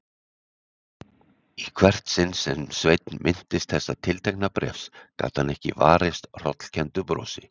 Í hvert sinn sem Sveinn minntist þessa tiltekna bréfs gat hann ekki varist hrollkenndu brosi.